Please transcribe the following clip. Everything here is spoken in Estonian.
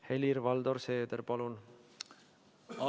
Helir-Valdor Seeder, palun!